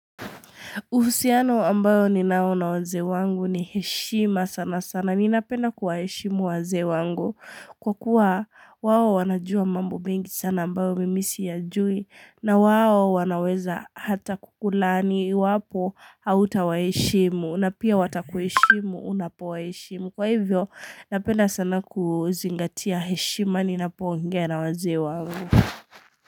Uhusiano ambao ninao na wazee wangu ni heshima sana sana. Ninapenda kuwaheshimu wazee wangu. Kwa kuwa wao wanajua mambo mengi sana ambayo mimi siyajui. Na wao wanaweza hata kukulaani iwapo hautawaheshimu. Na pia watakuheshimu unapowaheshimu. Kwa hivyo napenda sana kuzingatia heshima ninapoongea na wazee wangu.